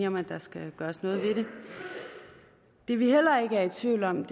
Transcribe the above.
om at der skal gøres noget ved det det vi heller ikke er i tvivl om